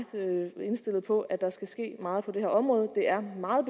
indstillet på at der skal ske meget på det her område det er meget